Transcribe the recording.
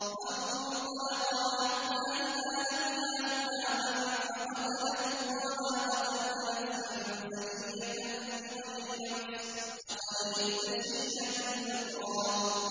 فَانطَلَقَا حَتَّىٰ إِذَا لَقِيَا غُلَامًا فَقَتَلَهُ قَالَ أَقَتَلْتَ نَفْسًا زَكِيَّةً بِغَيْرِ نَفْسٍ لَّقَدْ جِئْتَ شَيْئًا نُّكْرًا